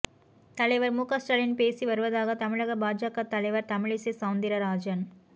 தலைவர் முக ஸ்டாலின் பேசி வருவதாக தமிழக பாஜக தலைவர் தமிழிசை செளந்திரராஜன்